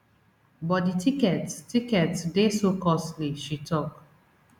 but di tickets tickets dey so costly she tok